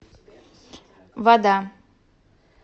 вода